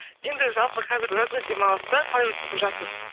енді жалпы қазір жазғы демалысты қалай өткізіп жатсыз